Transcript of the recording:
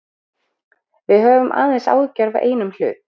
Við höfum aðeins áhyggjur af einum hlut.